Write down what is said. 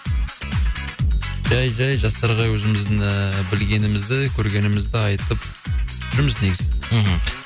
жәй жәй жастарға өзіміздің ііі білгенімізді көргенімізді айтып жүрміз негізі мхм